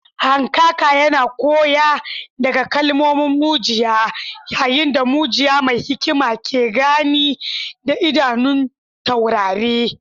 Hankaka yana koya daga kalmomin mujiya, yayin da mujiya mai hikima ke gani da idanun taurari.